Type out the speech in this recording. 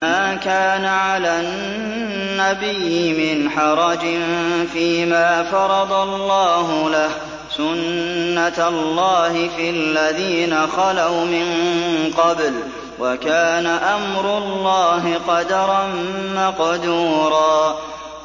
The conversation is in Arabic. مَّا كَانَ عَلَى النَّبِيِّ مِنْ حَرَجٍ فِيمَا فَرَضَ اللَّهُ لَهُ ۖ سُنَّةَ اللَّهِ فِي الَّذِينَ خَلَوْا مِن قَبْلُ ۚ وَكَانَ أَمْرُ اللَّهِ قَدَرًا مَّقْدُورًا